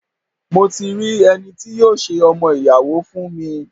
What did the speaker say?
Mo ti mo ti rí ẹni tí yóò ṣe ọmọ-ìyàwó fún mi.